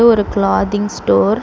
இது ஒரு clothing store .